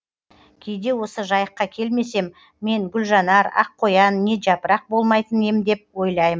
кейде осы жайыққа келмесем мен гүлжанар ақ қоян не жапырақ болмайтын ем деп ойлаймын